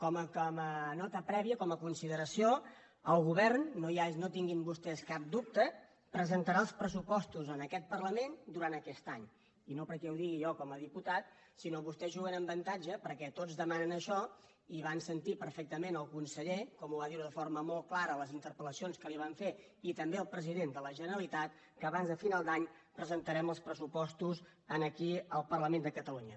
com a nota prèvia com a consideració el govern no en tinguin vostès cap dubte presentarà els pressupos·tos en aquest parlament durant aquest any i no perquè ho digui jo com a diputat sinó que vostès juguen amb avantatge perquè tots demanen això i van sentir per·fectament el conseller com ho va dir de forma molt clara a les interpel·lacions que li van fer i també al president de la generalitat que abans de final d’any presentarem els pressupostos aquí al parlament de catalunya